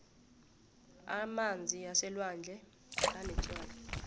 amanzi aselwandle anetswayi